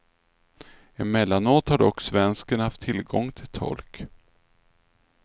Emellanåt har dock svensken haft tillgång till tolk.